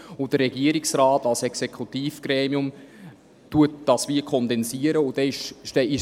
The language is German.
Der Regierungsrat als Exekutivgremium kondensiert dies in gewisser Weise.